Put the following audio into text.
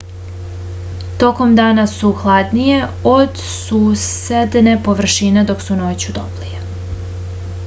tokom dana su hladnije od susedne površine dok su noću toplije